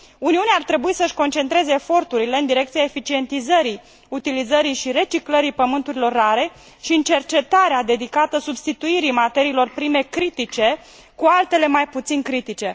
Uniunea ar trebui să își concentreze eforturile în direcția eficientizării utilizării și reciclării elementelor terestre rare și în cercetarea dedicată substituirii materiilor prime critice cu altele mai puțin critice.